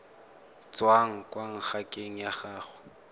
tswang kwa ngakeng ya gago